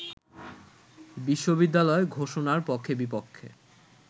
বিশ্ববিদ্যালয় ঘোষণার পক্ষে-বিপক্ষে